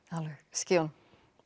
skýjunum